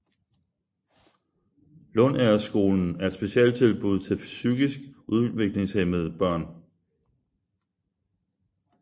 Lundagerskolen er et specialtilbud til psykisk udviklingshæmmede børn